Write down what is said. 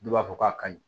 Dɔw b'a fɔ k'a ka ɲi